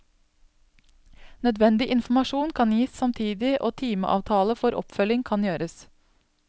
Nødvendig informasjon kan gis samtidig og timeavtale for oppfølging kan gjøres.